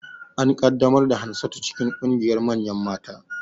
An ƙaddamar da Hansatu cikin ƙungiyar manyan mata